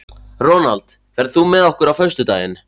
Ronald, ferð þú með okkur á föstudaginn?